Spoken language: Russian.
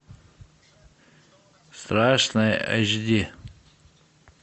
страшное эйч ди